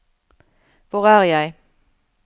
hvor er jeg